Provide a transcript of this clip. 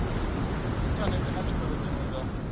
inthanethe na tshumelo dziwe dza